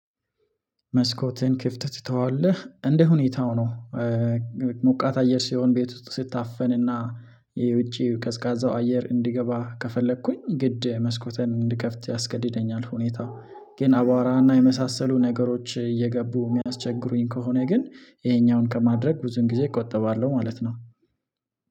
መስኮትን ክፍት ትተዋለህ እንደ ሁኔታው ነው። ሞቃት አየር ሲሆን ቤት ስታፈንና የውጪ ቀዝቃዛው አየር እንዲገባ ከፈለኩኝ ግድ መስኮተን እንድከፍት ያስገድደኛል። ሁኔታው ግን አባዋራና የመሳሰሉ ነገሮች እየገቡ የሚያስቸግሩኝ ከሆነ ግን ይሄኛውን ከማድረግ ብዙን ጊዜ እቆጥባለሁ ማለት ነው